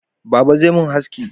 Baba zai mun haski